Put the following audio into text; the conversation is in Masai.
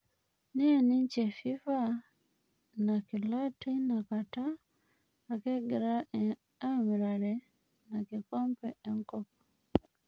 Niany ninje FIFA inakila teina kata ake egirae emirare inskikombe enkop.